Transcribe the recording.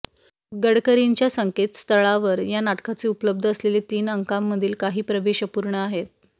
गडकरींच्या संकेतस्थळावर या नाटकाचे उपलब्ध असलेले तीन अंकांमधील काही प्रवेश अपूर्ण आहेत